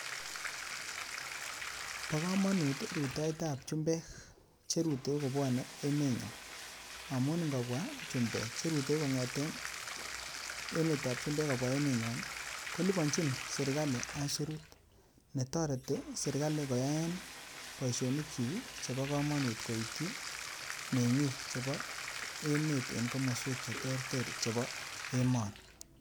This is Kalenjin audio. Bokamanut ruitoitoab chumbek cheruteu kobwanei emet ny'on. Amun ingo'bwa chumbek cheruteu konge'ten emetab chumbek koruteu emet ny'on kolibanchin serikali aisurut netoreti serikali koyaen baisionik chik chebo kamanut koitchi meng'ik chebo emet en komaswek cheterteren chebo emooni.